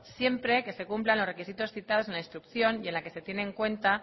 siempre que se cumplan los requisitos citados en la instrucción y en la que se tiene en cuanto